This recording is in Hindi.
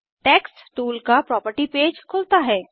टेक्स्ट टूल का प्रॉपर्टी पेज खुलता है